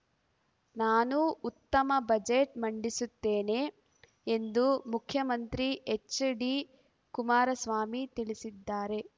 ನಾನು ಉತ್ತಮ ಬಜೆಟ್‌ ಮಂಡಿಸುತ್ತೇನೆ ಎಂದು ಮುಖ್ಯಮಂತ್ರಿ ಎಚ್‌ಡಿಕುಮಾರಸ್ವಾಮಿ ತಿಳಿಸಿದ್ದಾರೆ